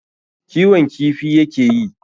kiwon kifi ya ke yi.